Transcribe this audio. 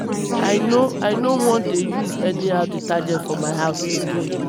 i no i no wan dey use anyhow detergent for my house again